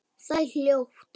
Það er hljótt.